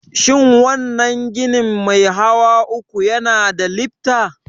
Shin wannan ginin mai hawa uku yana da lifta?